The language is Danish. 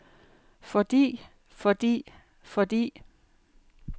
fordi fordi fordi